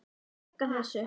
Ég bjarga þessu.